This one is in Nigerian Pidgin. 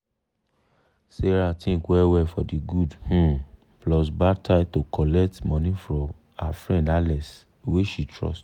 sarah think well well for de good um plus bad side to collect money for her friend alex wey she trust.